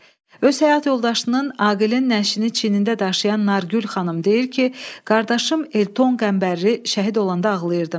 Öz həyat yoldaşının, Aqilin nəşini çiyinində daşıyan Nargül xanım deyir ki, qardaşım Elton Qəmbərli şəhid olanda ağlayırdım.